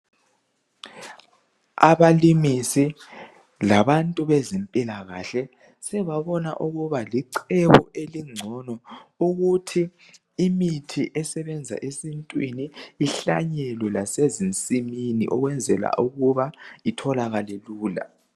abalimisi labantu bezempilakahle sebabona ukuba licebo elingcono ukuthi imithi esebenza esintwini ihlanyelwe lasezinsimini ukwenzela ukuba itholakale lula